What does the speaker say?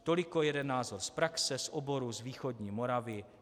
Toliko jeden názor z praxe z oboru, z východní Moravy.